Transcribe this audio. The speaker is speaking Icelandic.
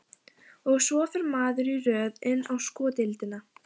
Og svo fer maður í röð inn á sko deildina.